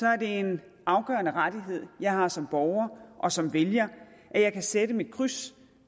er det en afgørende rettighed jeg har som borger og som vælger at jeg kan sætte mit kryds